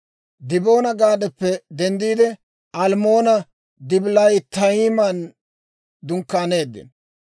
Diboona-Gaadappe denddiide, Almmoona-Dibilaatayiman dunkkaaneeddino.